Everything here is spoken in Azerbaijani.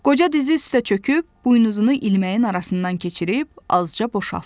Qoca dizi üstə çöküb buynuzunu ilməyin arasından keçirib azca boşaltdı.